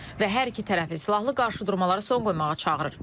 Və hər iki tərəfi silahlı qarşıdurmalara son qoymağa çağırır.